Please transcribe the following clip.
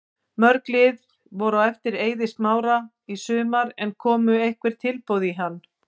Mörg lið voru á eftir Eiði Smára í sumar en komu einhver tilboð í hann?